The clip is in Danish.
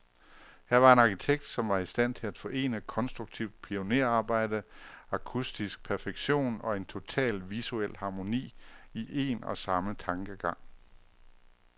Her var en arkitekt, som var i stand til at forene konstruktivt pionerarbejde, akustisk perfektion, og en total visuel harmoni, i en og samme tankegang.